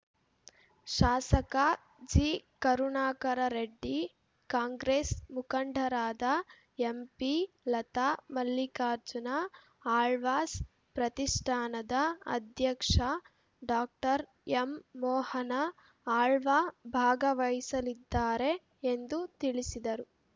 ಶಾಸಕ ಜಿಕರುಣಾಕರ ರೆಡ್ಡಿ ಕಾಂಗ್ರೆಸ್‌ ಮುಖಂಡರಾದ ಎಂಪಿ ಲತಾ ಮಲ್ಲಿಕಾರ್ಜುನ ಆಳ್ವಾಸ್‌ ಪ್ರತಿಷ್ಠಾನದ ಅಧ್ಯಕ್ಷ ಡಾಕ್ಟರ್ ಎಂಮೋಹನ ಆಳ್ವ ಭಾಗವಹಿಸಲಿದ್ದಾರೆ ಎಂದು ತಿಳಿಸಿದರು